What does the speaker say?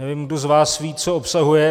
Nevím, kdo z vás ví, co obsahuje.